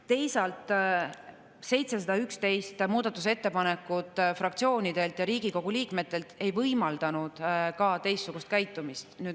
Teisalt, 711 muudatusettepanekut fraktsioonidelt ja Riigikogu liikmetelt ei võimaldanud teistsugust käitumist.